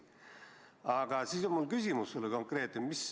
Aga mul on sulle konkreetne küsimus.